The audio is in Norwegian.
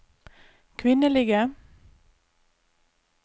kvinnelige